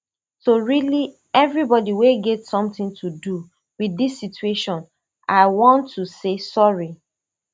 to really evribodi wey get sometin to do with dis situation i wan to say sorry